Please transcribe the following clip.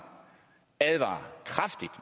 advarer kraftigt